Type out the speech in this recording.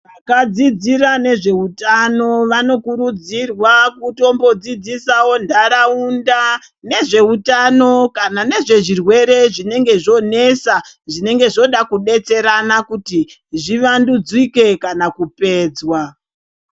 Vakadzidzira nezvehutano, vanokurudzirwa kutombodzidzisawo ntaraunda nezvehutano kana nezvezvirwere zvinenge zvonetsa, zvinenge zvoda kudetserana kuti zvivandudzike kana kupedzwa.